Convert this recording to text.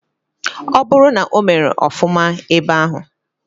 Oburu na omere ofuma ebe ahu.